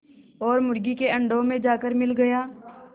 और मुर्गी के अंडों में जाकर मिल गया